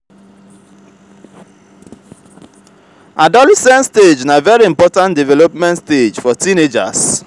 adolescent stage na very important development stage for teenagers